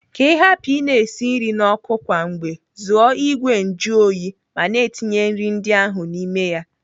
Ka ị hapụ ị na-esi nri n'ọkụ kwa mgbe, zụọ ìgwè njuoyi ma na-etinye nri ndị ahụ n'ime ya.